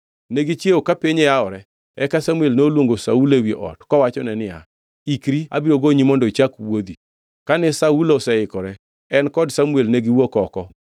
Ne gichiewo ka piny yawore, eka Samuel noluongo Saulo ewi ot, kowachone niya, “Ikri abiro gonyi mondo ichak wuodhi.” Kane Saulo oseikore, en kod Samuel ne giwuok oko.